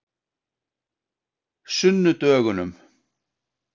sunnudögunum